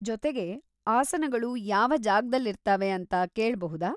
ಜೊತೆಗೆ, ಆಸನಗಳು ಯಾವ ಜಾಗದಲ್ಲಿರ್ತಾವೆ ಅಂತ ಕೇಳ್ಬಹುದಾ?